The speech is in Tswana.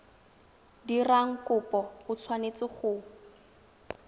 dirang kopo o tshwanetse go